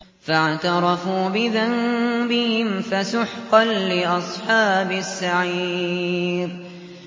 فَاعْتَرَفُوا بِذَنبِهِمْ فَسُحْقًا لِّأَصْحَابِ السَّعِيرِ